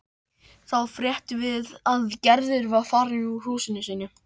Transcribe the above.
Nína er alltaf svo mikið fyrir kelerí.